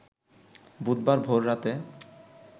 বুধবার ভোর রাতে